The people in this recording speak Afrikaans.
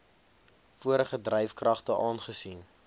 vorige dryfkragte aangesien